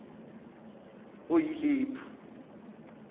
oyilephu